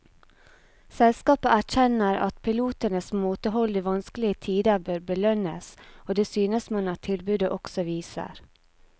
Selskapet erkjenner at pilotenes måtehold i vanskelige tider bør belønnes, og det synes man at tilbudet også viser.